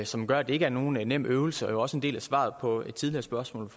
som gør at det ikke er nogen nem øvelse det er også en del af svaret på et tidligere spørgsmål